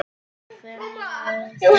Hvell og þykk.